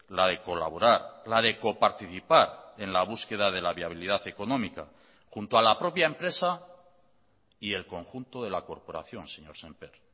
la de colaborar la de coparticipar en la búsqueda de la viabilidad económica junto a la propia empresa y el conjunto de la corporación señor sémper